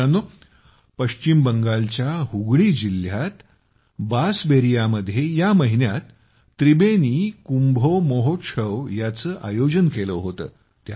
मित्रांनो पश्चिम बंगालच्या हुगळी जिल्ह्यात बासबेरियामध्ये या महिन्यात त्रिबेनी कुंभो मोहोत्शव यांचं आयोजन केलं होतं